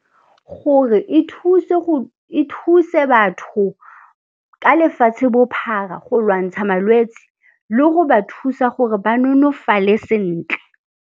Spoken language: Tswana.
Gore e thuse batho ka lefatshe-bophara go lwantsha malwetse le go ba thusa gore ba nonofale sentle.